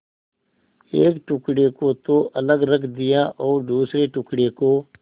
एक टुकड़े को तो अलग रख दिया और दूसरे टुकड़े को